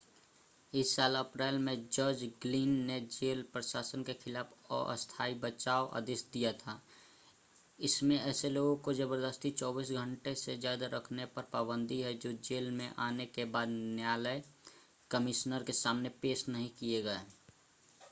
इस साल अप्रैल में जज ग्लिन ने जेल प्रशासन के खिलाफ अस्थाई बचाव आदेश दिया था इसमें ऐसे लोगों को ज़बरदस्ती 24 घंटों से ज़्यादा रखने पर पाबंदी है जो जेल में आने के बाद न्यायलय कमिश्नर के सामने पेश नहीं किए गए